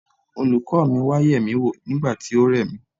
Olùkọ́ mi wá yemi wò nígbà tí ó re mí.